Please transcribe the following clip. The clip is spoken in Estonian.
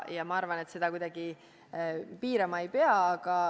Ma arvan, et seda kuidagi piirama ei pea.